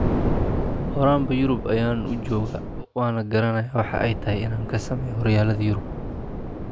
Horaanba Yurub ayaan u joogaa, waana garanayaa waxa ay tahay inaan ka sameeyo horyaalada Yurub.